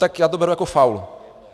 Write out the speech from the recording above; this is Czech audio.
Tak já to beru jako faul.